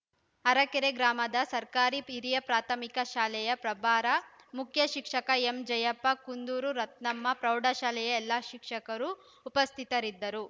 ಅರಕೆರೆ ಗ್ರಾಮದ ಸರ್ಕಾರಿ ಪಿರಿಯ ಪ್ರಾಥಮಿಕ ಶಾಲೆಯ ಪ್ರಭಾರ ಮುಖ್ಯ ಶಿಕ್ಷಕ ಎಂ ಜಯಪ್ಪ ಕುಂದೂರು ರತ್ನಮ್ಮ ಪ್ರೌಢಶಾಲೆಯ ಎಲ್ಲಾ ಶಿಕ್ಷಕರು ಉಪಸ್ಥಿತರಿದ್ದರು